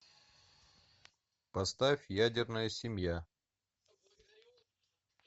поставь ядерная семья